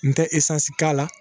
N tɛ k'a la